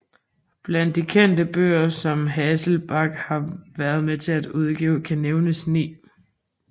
Blandt de kendte bøger som Hasselbalch har været med til at udgive kan nævnes 9